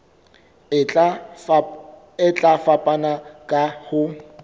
e tla fapana ka ho